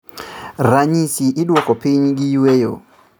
Ranyisi iduoko piny gi yueyo